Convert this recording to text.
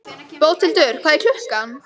Bóthildur, hvað er klukkan?